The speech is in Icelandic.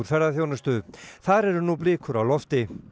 ferðaþjónustu þar eru nú blikur á lofti